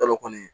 Kalo kɔni